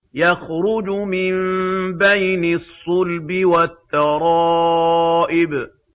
يَخْرُجُ مِن بَيْنِ الصُّلْبِ وَالتَّرَائِبِ